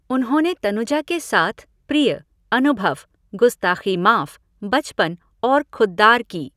उन्होंने तनुजा के साथ प्रिय, अनुभव, गुस्ताख़ी माफ, बचपन और खुद्दार की।